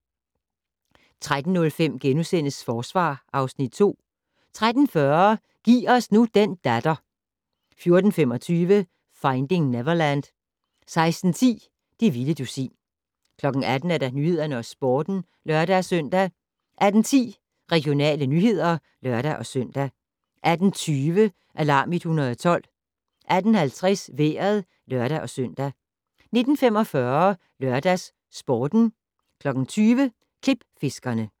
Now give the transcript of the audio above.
13:05: Forsvar (Afs. 2)* 13:40: Giv os nu den datter 14:25: Finding Neverland 16:10: Det vilde dusin 18:00: Nyhederne og Sporten (lør-søn) 18:10: Regionale nyheder (lør-søn) 18:20: Alarm 112 18:50: Vejret (lør-søn) 19:45: LørdagsSporten 20:00: Klipfiskerne